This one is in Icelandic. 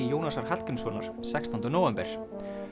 Jónasar Hallgrímssonar sextánda nóvember